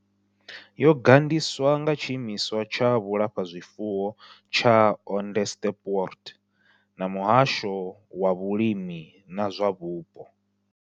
Yo gandiswa nga Tshiimiswa tsha Vhulafha zwifuwo tsha Onderstepoort na Muhasho wa Vhulimi na zwa Vhupo.